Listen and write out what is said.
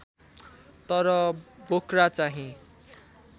तर बोक्रा चाहिँ